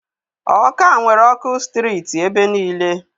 Ọka nwere ọkụ sitirit ebe niile.